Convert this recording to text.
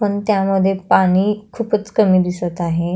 पण त्यामधे पाणी खुपच कमी दिसत आहे.